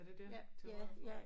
Er det dér til højre for